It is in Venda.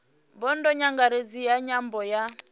bodo nyangaredzi ya nyambo ya